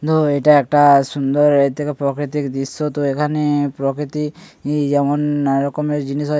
না এটা একটা সুন্দর এর থেকে প্রাকৃতিক দৃশ্য তো এখানে প্রকৃতি যেমন নানা রকমের জিনিস হয়--